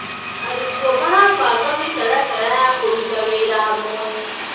Arutwo marabanga mĩtaratara ya kũruta wĩra hamwe.